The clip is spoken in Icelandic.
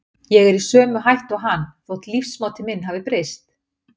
Ég er í sömu hættu og hann, þótt lífsmáti minn hafi breyst.